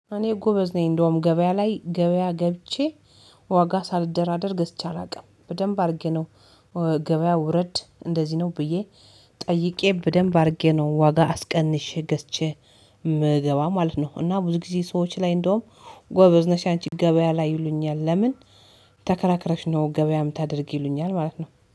እኔ ጎበዝ ነኝ እንደውም ገበያ ላይ ገበያ ገብቼ ዋጋ ሳልደራደር ገዝቼ አላውቅም በደንብ አድርጌ ነው። ገበያ ውረድ እንደዚህ ነው ብዬ ጠይቄ በደንብ አድርጌ ነው ዋጋ አስቀንሼ ገዝቼ መገባ ማለት ነው። እና ብዙ ጊዜ ሰዎች ላይ እንደውም ጎበዝ ነሽ አንቺ ገበያ ላይ ይሉኛል። ለምን? ተከራክረሽ ነው ገበያ ምታደርጊ ይሉኛል ማለት ነው።